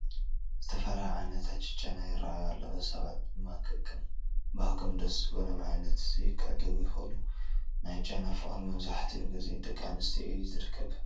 ዝተፈላለዩ ዓይነታት ጨና ይርአዩ ኣለዉ፡፡ ሰባት ድማ ከከም ባህጐም ደስ ዝበሎም ዓይነት ክዕድጉ ይኽእሉ፡፡ ናይ ጨና ፍቕሪ መብዛሕትኡ ግዜ ኣብ ደቂ ኣንስትዮ እዩ ዝርከብ፡፡